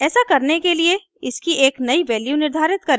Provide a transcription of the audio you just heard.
ऐसा करने के लिए इसकी एक नयी वैल्यू निर्धारित करें